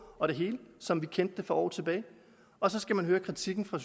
og det hele som vi kendte det for år tilbage og så skal man høre kritikken fra